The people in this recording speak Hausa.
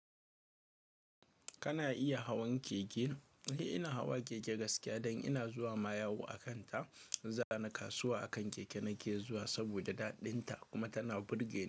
Kana iya hawan keke? Eh, ina hawa keke gaskiya, dan ina zuwa ma yawo akan ta. Zani kasuwa akan keke nake zuwa saboda daɗin ta kuma tana burge ni.